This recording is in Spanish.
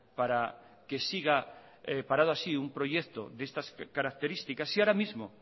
para que siga parado así un proyecto de estas características si ahora mismo